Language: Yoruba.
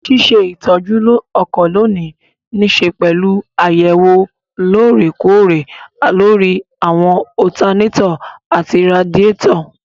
Ṣíṣe ìtọ́jú ọkọ̀ lónìí nííṣe pẹ̀lú àyẹ̀wò lóòrè kóòrè lóri àwọn ọtanátọ̀ àti radíàtọ̀